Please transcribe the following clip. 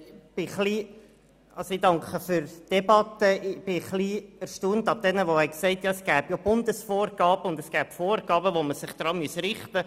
Ich war etwas erstaunt über die Aussagen, es gebe ja Bundesvorgaben und Vorgaben, an die wir uns halten müssen.